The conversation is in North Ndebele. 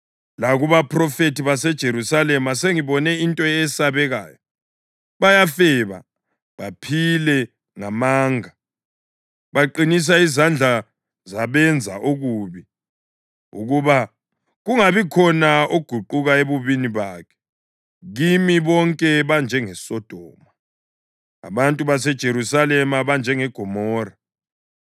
Lakubaphrofethi baseJerusalema sengibone into eyesabekayo: Bayafeba baphile ngamanga. Baqinisa izandla zabenza okubi, ukuba kungabikhona oguquka ebubini bakhe. Kimi bonke banjengeSodoma; abantu baseJerusalema banjengeGomora.”